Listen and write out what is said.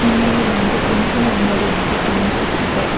ಇಲ್ಲಿ ಒಂದು ತಿನಿಸಿನ ಅಂಗಡಿಯಂತೆ ಕಾಣಿಸುತ್ತಿದೆ.